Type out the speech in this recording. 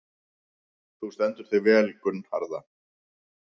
Þú stendur þig vel, Gunnharða!